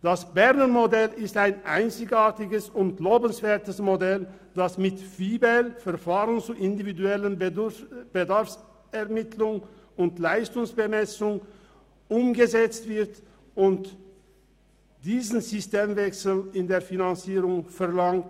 Das Berner Modell ist ein einzigartiges und lobenswertes Model, das mit VIBEL umgesetzt wird und diesen Systemwechsel in der Finanzierung verlangt.